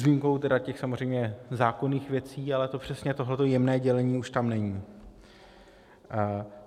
S výjimkou tedy těch samozřejmě zákonných věcí, ale to přesně, tohle jemné dělení, už tam není.